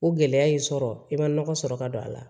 O gɛlɛya y'i sɔrɔ i ma nɔgɔ sɔrɔ ka don a la